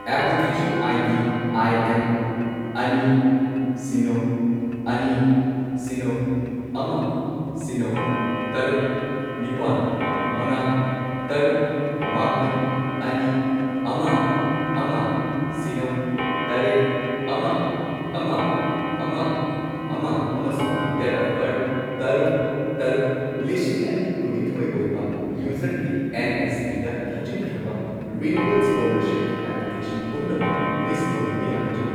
Application ID. I N ꯑꯅꯤ, ꯁꯤꯅꯣ, ꯑꯅꯤ, ꯁꯤꯅꯣ, ꯑꯃ, ꯁꯤꯅꯣ, ꯇꯔꯨꯛ, ꯅꯤꯄꯥꯟ, ꯃꯉꯥ ꯇꯔꯨꯛ, ꯃꯥꯄꯟ, ꯑꯅꯤ, ꯑꯃ, ꯑꯃ, ꯁꯤꯅꯣ, ꯇꯔꯦꯠ, ꯑꯃ, ꯑꯃ, ꯑꯃ, ꯑꯃ ꯑꯃꯁꯨꯡ ꯗꯦꯠ ꯑꯣꯐ ꯕꯔꯊ ꯇꯔꯨꯛ ꯇꯔꯨꯛ ꯂꯤꯁꯤꯡ ꯑꯅꯤ ꯀꯨꯟꯅꯤꯊꯣꯢ ꯑꯣꯏꯕ ꯌꯨꯖꯔꯒꯤ ꯑꯦꯟ.ꯑꯦꯁ.ꯄꯤ.ꯗ ꯊꯥꯖꯤꯟꯈ꯭ꯔꯕ ꯔꯤꯅ꯭ꯌꯨꯋꯦꯜ ꯁ꯭ꯀꯣꯂꯔꯁꯤꯞꯀꯤ ꯑꯦꯄ꯭ꯂꯤꯀꯦꯁꯟ ꯄꯨꯝꯅꯃꯛ ꯂꯤꯁꯠ ꯇꯧꯕꯤꯕ ꯌꯥꯒꯗ꯭ꯔꯥ?